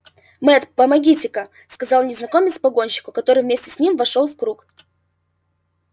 мэтт помогите-ка мне сказал незнакомец погонщику который вместе с ним вошёл в круг